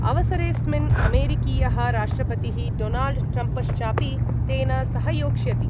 अवसरेस्मिन् अमेरिकीयः राष्ट्रपतिः डोनाल्ड् ट्रम्पश्चापि तेन सहयोक्ष्यति।